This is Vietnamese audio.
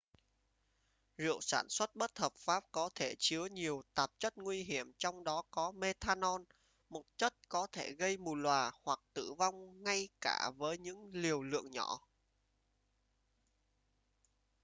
rượu sản xuất bất hợp pháp có thể chứa nhiều tạp chất nguy hiểm trong đó có methanol một chất có thể gây mù lòa hoặc tử vong ngay cả với những liều lượng nhỏ